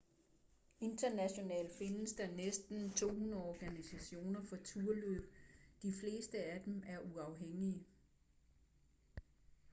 internationalt findes der næsten 200 organisationer for turløb de fleste af dem er uafhængige